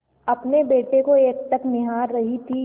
अपने बेटे को एकटक निहार रही थी